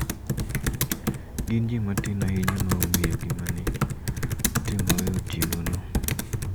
Gin ji matin ahinya ma ong`eyo gima ne otimore otieno no.